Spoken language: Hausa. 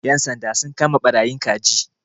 Ƴan sanda sun kama ɓarayin kaji.